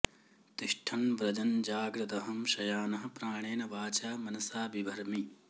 तिष्ठन् व्रजन् जाग्रदहं शयानः प्राणेन वाचा मनसा बिभर्मि